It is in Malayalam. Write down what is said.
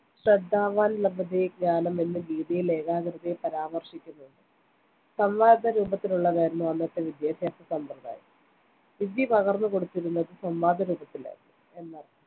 ശ്രദ്ധാവാൻ ലഭതേ ജ്ഞാനം എന്ന് ഗീതയിൽ ഏകാഗ്രതയെ പരാമർശിക്കുന്നുണ്ട് സംവാദരൂപത്തിലുള്ളതായിരുന്നു അന്നത്തെ വിദ്യാഭ്യാസ സമ്പ്രദായം. വിദ്യ പകർന്നുകൊടുത്തിരുന്നത് സംവാദരൂപത്തിലായിരുന്നു എന്നർത്ഥം